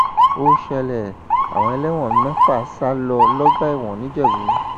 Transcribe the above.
ó ṣẹlẹ àwọn ẹlẹwọn mẹta sá lọ lọgbà ẹwọn nìjẹbù